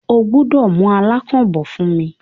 O gbúdọ̀ mú “alákàn” bọ̀ fún mí!